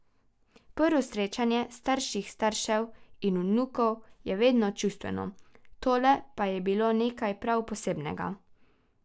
Prvo srečanje starših staršev in vnukov je vedno čustveno, tole pa je bilo nekaj prav posebnega.